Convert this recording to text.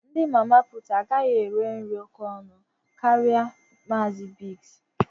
Ndị mama pụụt agaghị ere nri òkè ọnụ karịa Maazi Biggs.